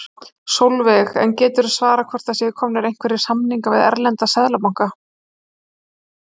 Sólveig: En geturðu svarað hvort það séu komnir einhverjir samningar við erlenda seðlabanka?